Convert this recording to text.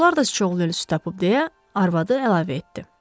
Qonşular da sıçovul ölülüsü tapıb deyə arvadı əlavə etdi.